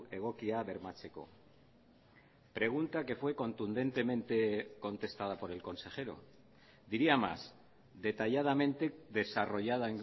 egokia bermatzeko pregunta que fue contundentemente contestada por el consejero diría más detalladamente desarrollada